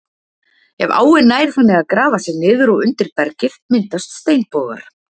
Ef áin nær þannig að grafa sig niður og undir bergið myndast steinbogar.